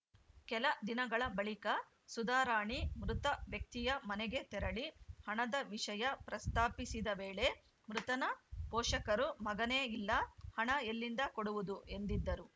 ಕೆಲ ದಿನಗಳ ಬಳಿಕ ಸುಧಾರಾಣಿ ಮೃತ ವ್ಯಕ್ತಿಯ ಮನೆಗೆ ತೆರಳಿ ಹಣದ ವಿಷಯ ಪ್ರಸ್ತಾಪಿಸಿದ ವೇಳೆ ಮೃತನ ಪೋಷಕರು ಮಗನೇ ಇಲ್ಲ ಹಣ ಎಲ್ಲಿಂದ ಕೊಡುವುದು ಎಂದಿದ್ದರು